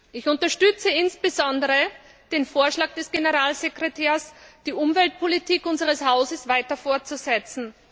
Ich unterstütze insbesondere den Vorschlag des Generalsekretärs, die Umweltpolitik unseres Hauses weiter fortzusetzen.